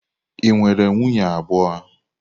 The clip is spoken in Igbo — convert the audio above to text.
Ị nwere nwunye abụọ?